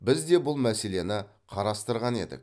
біз де бұл мәселені қарастырған едік